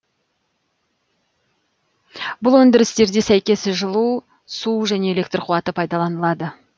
бұл өндірістерде сәйкес жылу су және электр куаты пайдаланылады